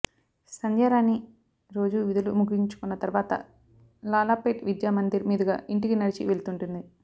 సంధ్యారాణి రోజూ విధులు ముగించుకున్న తర్వాత లాలాపేట్ విద్యామందిర్ మీదుగా ఇంటికి నడిచి వెళ్తుంటుంది